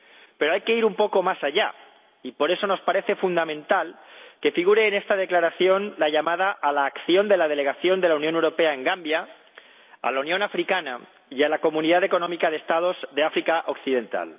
Pero hay que ir un poco más allá, y por eso nos parece fundamental que figure en esta Resolución la llamada a la acción de la Delegación de la Unión Europea en Gambia, de la Unión Africana y de la Comunidad Económica de los Estados del África Occidental.